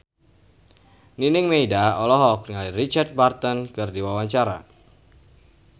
Nining Meida olohok ningali Richard Burton keur diwawancara